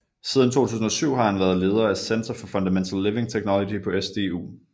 Siden 2007 har han været leder af Center for Fundamental Living Technology på SDU